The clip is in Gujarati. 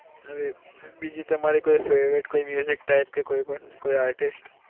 હવે બીજી તમારી કોઈ favourite કોઈ type કે કોઈ પણ કોઈ artist